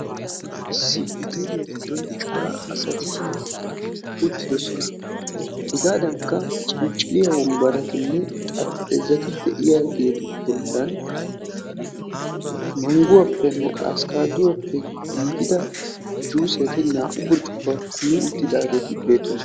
issi hoteeliya giddon cora asati uttidosona, hegaadankka ciliciliya wonbaratinne xarpheezati de'iyagetu bolan manguwapenne abokkaaduwappe iigida juuset naa'u burccukkuwa kumi uttidageti beetoosona.